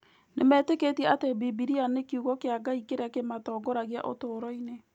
Nĩmetĩkĩtie atĩ Bibiria nĩ Kiugo kĩa Ngai kĩrĩa kĩmatongoragia ũtũũro-inĩ.